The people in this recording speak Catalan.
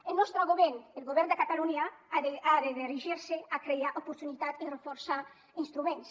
el nostre govern el govern de catalunya ha de dirigir se a crear oportunitat i reforçar instruments